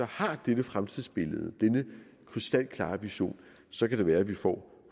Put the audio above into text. har dette fremtidsbillede denne krystalklare vision så kan det være at vi får